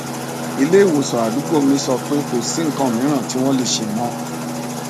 ileiwosan àdúgbò mi sọ pé kò sí nnkan miran ti wọn le ṣe mọ